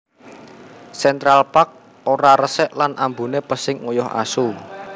Central Park ora resik lan ambune pesing uyuh asu